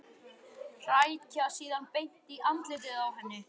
Hrækja síðan beint í andlitið á henni.